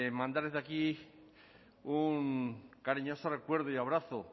mandar desde aquí un cariñoso recuerdo y abrazo